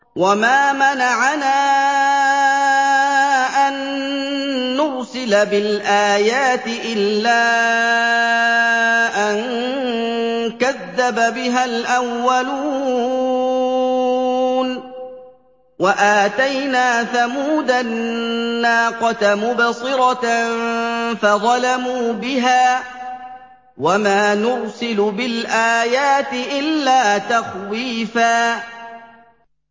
وَمَا مَنَعَنَا أَن نُّرْسِلَ بِالْآيَاتِ إِلَّا أَن كَذَّبَ بِهَا الْأَوَّلُونَ ۚ وَآتَيْنَا ثَمُودَ النَّاقَةَ مُبْصِرَةً فَظَلَمُوا بِهَا ۚ وَمَا نُرْسِلُ بِالْآيَاتِ إِلَّا تَخْوِيفًا